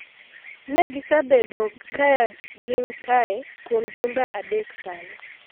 Ne gisebedo ka gin kae kuom jumbe adek sani.